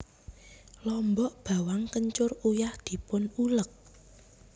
Lombok bawang kencur uyah dipun ulek